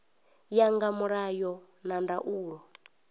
ya nga mulayo na ndaulo